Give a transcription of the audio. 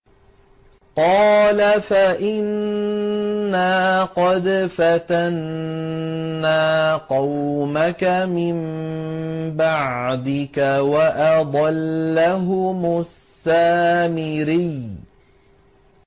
قَالَ فَإِنَّا قَدْ فَتَنَّا قَوْمَكَ مِن بَعْدِكَ وَأَضَلَّهُمُ السَّامِرِيُّ